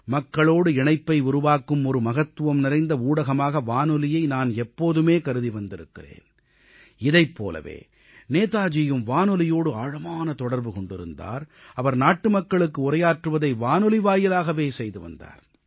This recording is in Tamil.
மக்களோடு இணைப்பை உருவாக்கும் ஒரு மகத்துவம் நிறைந்த ஊடகமாக வானொலியை நான் எப்போதுமே கருதி வந்திருக்கிறேன் இதைப் போலவே நேதாஜியும் வானொலியோடு ஆழமான தொடர்பு கொண்டிருந்தார் அவர் நாட்டுமக்களுக்கு உரையாற்றுவதை வானொலி வாயிலாகவே செய்து வந்தார்